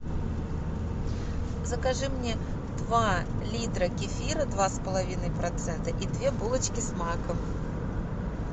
закажи мне два литра кефира два с половиной процента и две булочки с маком